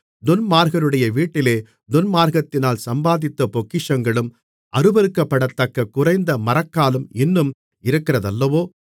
துன்மார்க்கருடைய வீட்டிலே துன்மார்க்கத்தினால் சம்பாதித்த பொக்கிஷங்களும் அருவருக்கப்படத்தக்க குறைந்த மரக்காலும் இன்னும் இருக்கிறதல்லவோ